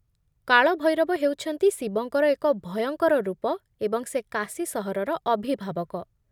କାଳଭୈରବ ହେଉଛନ୍ତି ଶିବଙ୍କର ଏକ ଭୟଙ୍କର ରୂପ ଏବଂ ସେ କାଶୀ ସହରର ଅଭିଭାବକ।